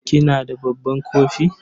kina da babban kofi?